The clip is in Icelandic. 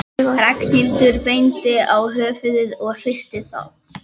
Ragnhildur benti á höfuðið og hristi það.